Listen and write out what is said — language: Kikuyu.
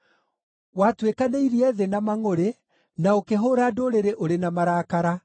Watuĩkanĩirie thĩ na mangʼũrĩ, na ũkĩhũũra ndũrĩrĩ ũrĩ na marakara.